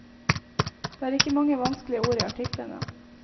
Det er ikke mange vanskelige ord i artiklene.